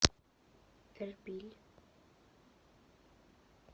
эрбиль